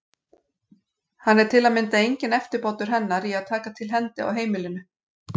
Hann er til að mynda enginn eftirbátur hennar í að taka til hendi á heimilinu.